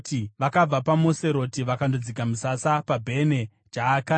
Vakabva paMoseroti vakandodzika misasa paBhene Jaakani.